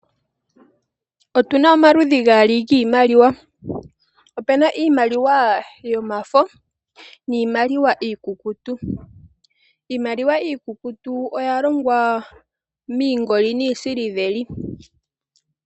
Otuna maludhi gaali giimaliwa, opuna iimaliwa yomafo niimaliwa iikukutu, iimaliwa iikukutu oya longwa miingoli, niisiliveli.